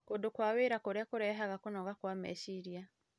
Kũndũ kwa wĩra kũrĩa kũrehaga kũnoga kwa meciria